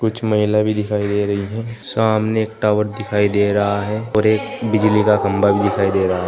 कुछ महिला भी दिखाई दे रही है सामने एक टॉवर दिखाई दे रहा है और एक बिजली का खंभा भी दिखाई दे रहा है।